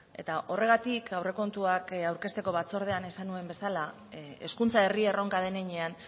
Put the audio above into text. eta horregatik aurrekontuak aurkezteko batzordean esan nuen bezala hezkuntza herri erronka den heinean